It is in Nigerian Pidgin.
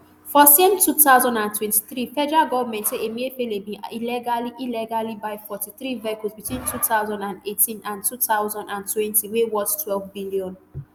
for same two thousand and twenty-three federal goment say emefiele bin illegally illegally buy forty-three vehicles between two thousand and eighteen and two thousand and twenty wey worth ntwelve billion